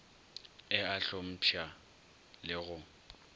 e a hlompšha le go